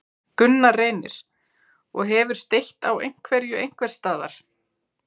Gunnar Reynir: Og hefur steytt á einhverju einhvers staðar?